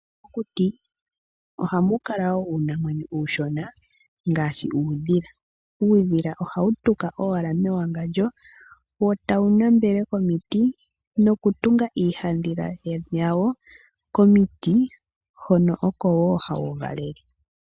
Mokuti, oha mu kala woo uunamwenyo uushona ngaashi uudhila. Uudhila oha wu tuka owala mewangandjo, eta wu nambele komiti, no ku tunga iihandhila yawo, komiti hono oko woo ha wu valele.